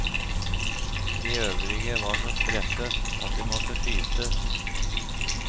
De øvrige var så stresset at de måtte skytes.